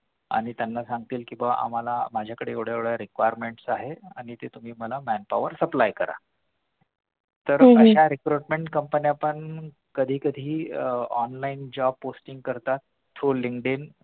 आणि त्यांना सांगतील कि बाबा मला माझ्या कडे एवढा recruitment आहे आणि ते तुम्ही मला man power supply करा तर अश्या recruitment company पण कधी कधी आह online job posting करतात through Linkdin